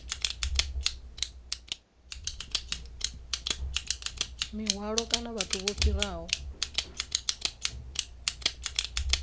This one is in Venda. mihwalo kana vhathu vho fhiraho